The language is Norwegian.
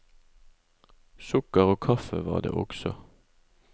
Sukker og kaffe var det også.